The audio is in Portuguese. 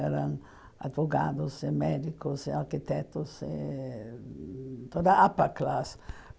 Eram advogados, eh médicos, eh arquitetos, eh toda a upper class.